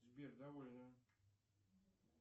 сбер довольно